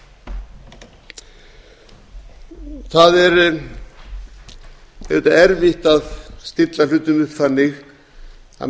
það er auðvitað erfitt að stilla hlutum upp þannig að